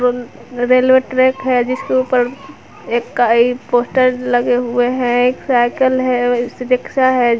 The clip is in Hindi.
रेलवे ट्रैक है जिसके ऊपर एक कई पोस्टर लगे हुए हैं एक साइकल है एक रिक्शा है।